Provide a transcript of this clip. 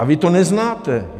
A vy to neznáte.